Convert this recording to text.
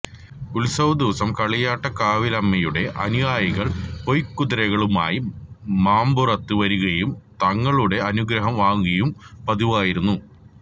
ഉത്സവ ദിവസം കളിയാട്ടക്കാവിലമ്മയുടെ അനുയായികള് പൊയ്കുതിരകളുമായി മമ്പുറത്ത് വരികയും തങ്ങളുടെ അനുഗ്രഹം വാങ്ങുകയും പതിവായിരുന്നു